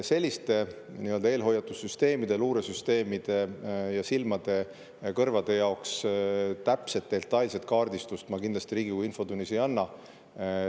Selliste eelhoiatussüsteemide, luuresüsteemide, silmade-kõrvade jaoks vajaliku täpset detailset kaardistust ma kindlasti Riigikogu infotunnis ei anna.